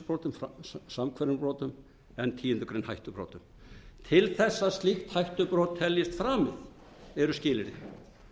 það er samhverfum brotum en tíundu greinar hættubrotum til þess að slíkt hættubrot teljist framið eru skilyrði